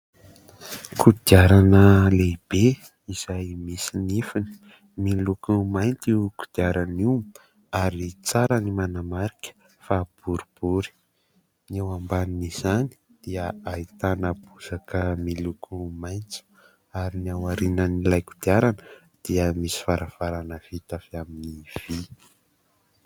Kodiarana lehibe izay misy nifiny ; miloko mainty io kodiarana io ary tsara ny manamarika fa boribory. Ny eo ambanin' izany dia ahitana bozaka miloko maitso ary ny aorian'ilay kodiarana dia misy varavarana vita avy amin'ny vy.